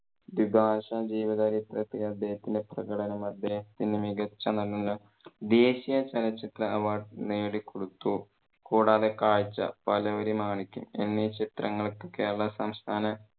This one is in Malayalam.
ദ്വിഭാഷ ജീവ ചരിത്രത്തിലെ അദ്ദേഹത്തിന്റെ പ്രകടനം അദ്ദേഹത്തിന് മികച്ച നടനുള്ള ദേശിയ ചലച്ചിത്ര award നേടിക്കൊടുത്തു. കൂടാതെ കാഴ്ച്ച, പാലേരി മാണിക്യം എന്നീ ചിത്രങ്ങൾക്ക് കേരള സംസ്ഥാന